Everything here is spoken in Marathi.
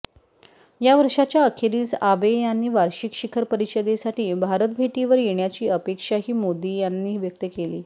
या वर्षाच्या अखेरीस आबे यांनी वार्षिक शिखर परिषदेसाठी भारतभेटीवर येण्याची अपेक्षाही मोदी यांनी व्यक्त केली